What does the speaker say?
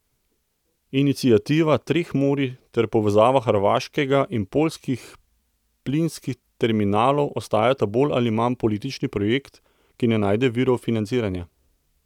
Iniciativa treh morij ter povezava hrvaškega in poljskih plinskih terminalov ostajata bolj ali manj politični projekt, ki ne najde virov financiranja.